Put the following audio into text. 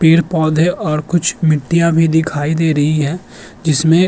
पेड़ पौधे और कुछ मिटयां भी दिखाई दे रही है जिसमें --